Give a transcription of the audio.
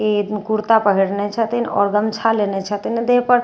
ई एखन कुर्ता पहिरने छथिन आओर गमछा लेने छथिन देह पर। आओर --